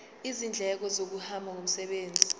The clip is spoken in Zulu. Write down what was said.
izindleko zokuhamba ngomsebenzi